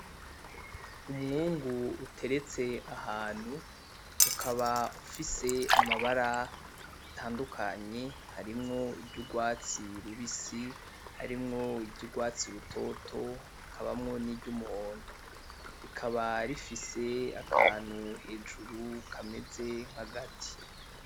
Umwungu uteretse ahantu, ukaba ufise amabara atandukanye harimwo iry'urwatsi rubisi, harimwo iry'urwatsi rutoto hakabamwo niry'umuhondo, rikaba rifise akantu hejuru kameze nk'agati.